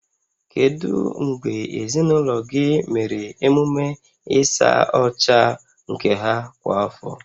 Kedu mgbe ezinụlọ gị mere emume ịsa ọcha nke ha kwa afọ?